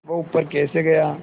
वह ऊपर कैसे गया